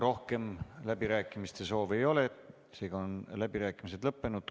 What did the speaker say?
Rohkem läbirääkimiste soovi ei ole, seega on läbirääkimised lõppenud.